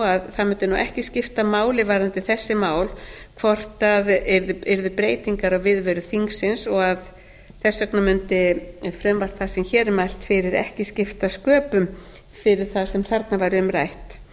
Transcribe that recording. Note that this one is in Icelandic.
það mundi nú ekki skipta máli varðandi þessi mál hvort það yrðu breytingar á viðveru þingsins og að þess vegna mundi frumvarp það sem hér er mælt fyrir ekki skipta sköpum fyrir það sem þarna væri um